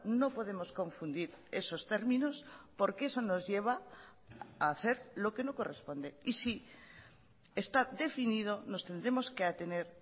no podemos confundir esos términos porque eso nos lleva a hacer lo que no corresponde y si está definido nos tendremos que atener